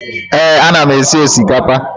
Ee, ana m esi osikapa.